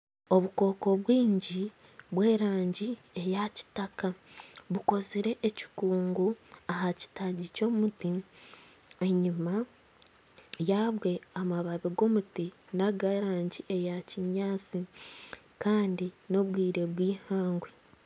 Obukooko bwingi obw'erangi ya kitaka bukozire ekikungu aha kitaagi ky'omuti enyima yabwe amababi g'omuti nag'erangi eya kinyaatsi kandi n'obwire bwihangwe.